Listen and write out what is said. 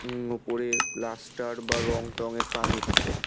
উম ওপরে প্লাস্টার বা রং-টংয়ের কাজ হচ্ছে।